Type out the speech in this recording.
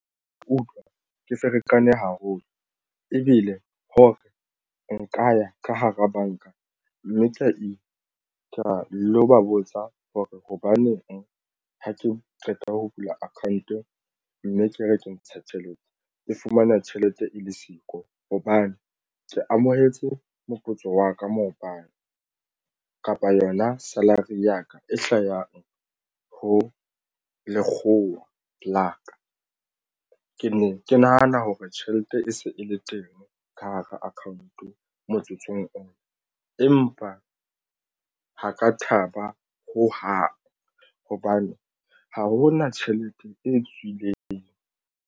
Ke utlwa ke ferekane haholo ebile ho re nka ya ka hara banka mme tla ka lo ba botsa hore hobaneng ha ke qeta ho bula account-ong mme ke re ke ntsha eo tjhelete ke fumana tjhelete e le siko hobane ke amohetse moputso wa ka maobane kapa yona salary ya ka e hlahang ho lekgowa la ka. Ke ne ke nahana hore tjhelete e se e le teng ka hara account-o motsotsong ona empa ha ka thaba ho hang hobane ha hona tjhelete e tswileng.